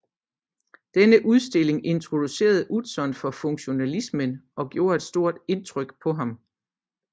Denne udstilling introducerede Utzon for funktionalismen og gjorde et stort indtryk på ham